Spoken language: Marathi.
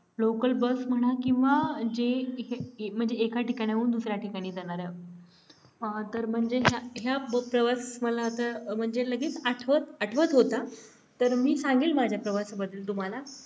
local bus म्हणा किंवा जे म्हणजे एका ठिकाणाहून दुसऱ्या ठिकाणी जाणाऱ्या तर म्हणजे ह्या ह्या प्रवास मला आता म्हणजे लगेच आठवत आठवत होता तर मी सांगेल माझ्या प्रवासाबद्दल तुम्हाला